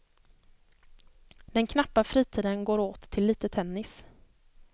Den knappa fritiden går åt till lite tennis.